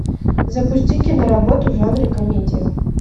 запусти киноработу в жанре комедия